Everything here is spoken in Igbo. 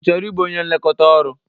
Ị chọrọ ịbụ onye nlekọta ọrụ?